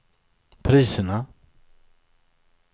priserna